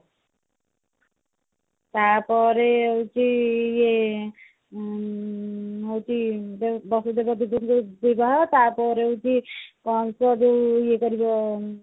ତା ପରେ ସେଇ ଇଏ ହଉଛି ବାସୁଦେବ ଦେବକୀଙ୍କ ବିବାହ ତାପରେ ହଉଛି କଣ ତ ଜଓୟାଉ ଇଏ କରିବ